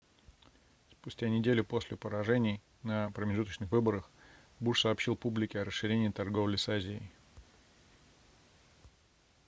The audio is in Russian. спустя неделю после поражений на промежуточных выборах буш сообщил публике о расширении торговли с азией